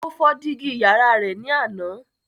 Ó fọ́ dígí yàrá rẹ ní àná.